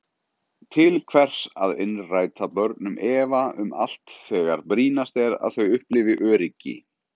Til hvers að innræta börnum efa um allt þegar brýnast er að þau upplifi öryggi?